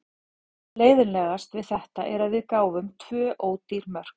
Það sem er leiðinlegast við þetta er að við gáfum tvö ódýr mörk.